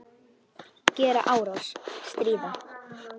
Gera árás- stríða